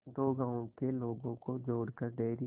दो गांवों के लोगों को जोड़कर डेयरी